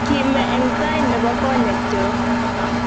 kime eng tai ne bo konyekyok